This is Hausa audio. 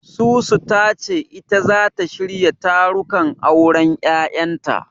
Susu ta ce ita zata shirya tarukan auren Yayanta.